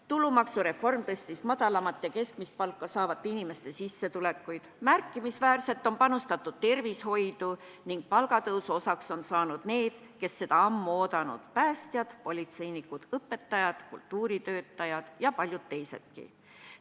Tulumaksureform tõstis madalamat ja keskmist palka saavate inimeste sissetulekuid, märkimisväärselt on panustatud tervishoidu ning palgatõusu on saanud need, kes seda ammu oodanud: päästjad, politseinikud, õpetajad, kultuuritöötajad ja paljud teisedki.